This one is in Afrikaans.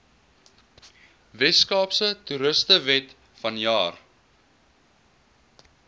weskaapse toerismewet vanjaar